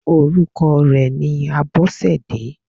Orúkọ rẹ̀ ni Abọ́sẹ̀dé.